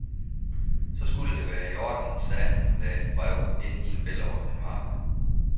Så skulle det være i orden, sagde han og lagde et brev ind i en velordnet mappe.